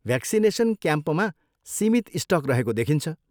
Vaccination क्याम्पमा सीमित stock रहेको देखिन्छ।